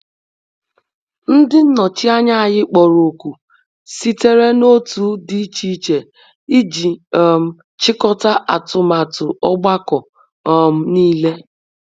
Ndi nnochi anya anyi kporo òkù sitere na otu di iche iche iji um chikọta atụmatụ ogbako um nile.